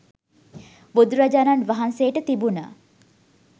බුදුරජාණන් වහන්සේට තිබුණ